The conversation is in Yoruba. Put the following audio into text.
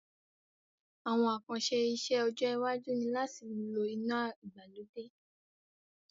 Àwon àkànse isẹ́ ọjọ́ iwájú ni láti lo inà ìgbàlódé